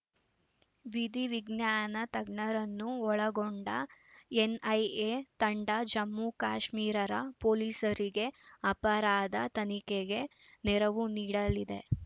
ವಿಧಿ ವಿಜ್ಞಾನ ತಜ್ಞರನ್ನು ಒಳಗೊಂಡ ಎನ್‌ಐಎ ತಂಡ ಜಮ್ಮು ಕಾಶ್ಮೀರರ ಪೊಲೀಸರಿಗೆ ಅಪರಾಧ ತನಿಖೆಗೆ ನೆರವು ನೀಡಲಿದೆ